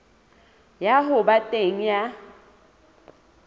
ya ho ba teng ha